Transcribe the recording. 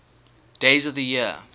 days of the year